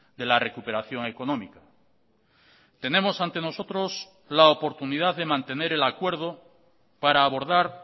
de la recuperación económica tenemos ante nosotros la oportunidad de mantener el acuerdo para abordar